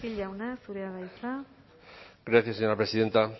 jauna zurea da hitza gracias señora presidenta